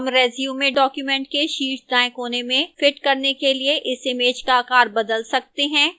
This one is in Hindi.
हम resume document के शीर्ष दाएं कोने में fit करने के लिए इस image का आकार बदल सकते हैं